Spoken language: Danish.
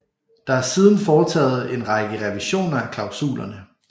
Der er siden foretaget en række revisioner af klausulerne